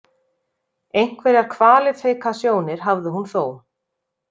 Einhverjar kvalifikasjónir hafði hún þó.